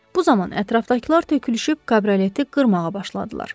Bu zaman ətrafdakılar tökülüşüb kabrioleti qırmağa başladılar.